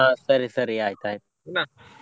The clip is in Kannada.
ಹ ಸರಿ ಸರಿ ಆಯ್ತಾಯ್ತು.